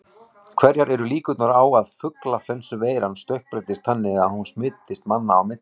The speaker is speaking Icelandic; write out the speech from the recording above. Hverjar eru líkurnar á að fuglaflensuveiran stökkbreytist þannig að hún smitist manna á milli?